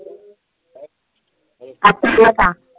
ला सांग.